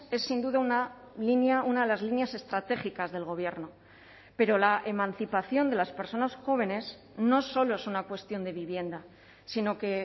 es sin duda una línea una de las líneas estratégicas del gobierno pero la emancipación de las personas jóvenes no solo es una cuestión de vivienda sino que